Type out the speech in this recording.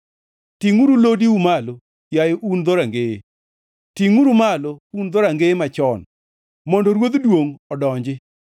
Tingʼuru lodiu malo, yaye un dhorangeye; tingʼ-giuru malo, un dhorangeye machon, mondo Ruodh duongʼ odonji.